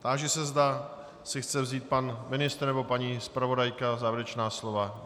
Táži se, zda si chce vzít pan ministr nebo paní zpravodajka závěrečná slova.